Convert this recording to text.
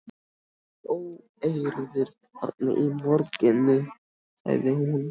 Voru einhverjar óeirðir þarna í borginni? sagði hún.